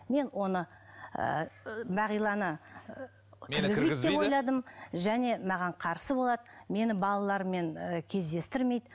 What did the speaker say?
мен оны ыыы бағиланы және маған қарсы болады мені балаларыммен ііі кездестірмейді